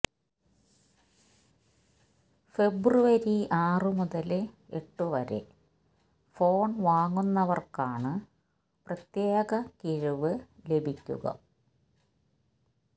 ഫെബ്രുവരി ആറ് മുതല് എട്ട് വരെ ഫോണ് വാങ്ങുന്നവര്ക്കാണ് പ്രത്യേക കിഴിവ് ലഭിക്കുക